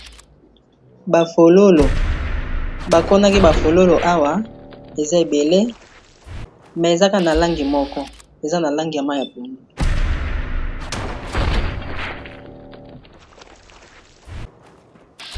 bafololo bakonaki bafololo awa eza ebele me ezaka na langi moko eza na langi ya mai ya puno